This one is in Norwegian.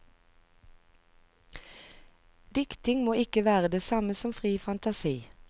Diktning må ikke være det samme som fri fantasi.